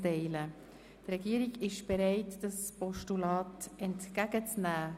Die Regierung ist bereit, das Postulat entgegen zu nehmen.